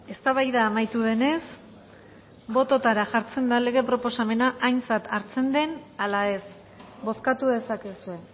eztabaida amaitu denez bototara jartzen da lege proposamena aintzat hartzen den ala ez bozkatu dezakezue